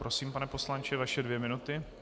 Prosím, pane poslanče, vaše dvě minuty.